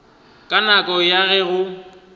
ka nako ya ge go